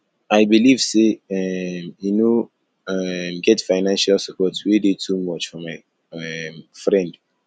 i believe sey um e no um get financial support wey dey too much for my um friend